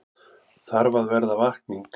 Þarf að verða vakning